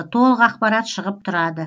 толық ақпарат шығып тұрады